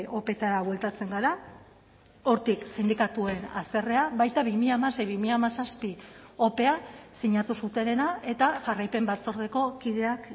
opeetara bueltatzen gara hortik sindikatuen haserrea baita bi mila hamasei bi mila hamazazpi opea sinatu zutenena eta jarraipen batzordeko kideak